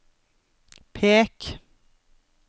pek